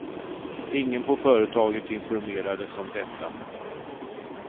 Ingen på företaget informerades om detta.